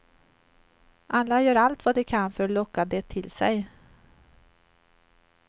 Alla gör allt vad de kan för att locka det till sig.